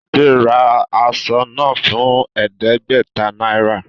Ṣade rà aṣọ náà fún ẹẹdẹgbẹta náírà